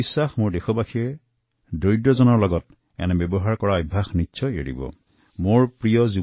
মোৰ বিশ্বাস যে মোৰ দেশবাসীৰো দুখীয়াৰ প্ৰতি পূৰ্বতে এনে আচৰণৰ অভ্যাস আছিল যদিও নিশ্চিতভাৱে তেওঁলোকে তাক ত্যাগ কৰিব